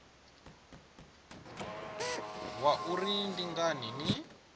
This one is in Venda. zwa uri ndi ngani ni